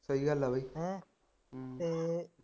ਸਹੀ ਗੱਲ ਆ ਬਈ